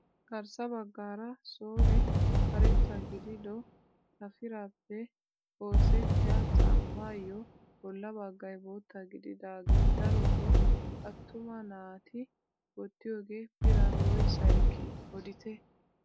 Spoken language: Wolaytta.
Garssa baggaara soolee karetta gidido xafiraappe oosettiyaa caammayoo bolla baggay bootta gididagee darotoo attuma naati wottiyoogee biran woyssaa ekkii odite?